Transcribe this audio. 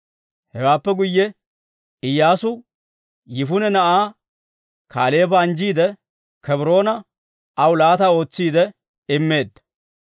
Hewaappe guyye Iyyaasu Yifune na'aa Kaaleeba anjjiide, Kebroona aw laata ootsiidde immeedda.